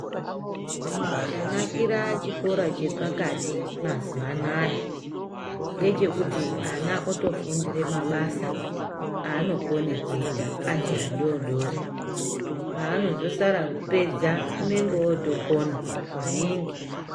Chanakira chikora chepakati mazuwa anaa ngechekuti ana otofundira mabasa aanokona kuita paanozosara kupedza anenge ootokona.